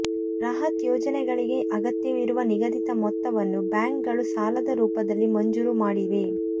ಬೃಹತ್ ಯೋಜನೆಗಳಿಗೆ ಅಗತ್ಯವಿರುವ ನಿಗದಿತ ಮೊತ್ತವನ್ನು ಬ್ಯಾಂಕ್ಗಳು ಸಾಲದ ರೂಪದಲ್ಲಿ ಮಂಜೂರು ಮಾಡಿವೆ